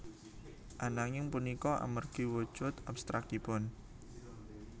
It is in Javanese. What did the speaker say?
Ananging punika amargi wujud abstrakipun